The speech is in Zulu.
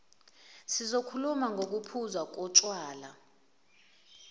sizokhuluma ngokuphuzwa kotshwala